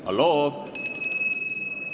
Halloo!